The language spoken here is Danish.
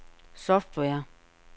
software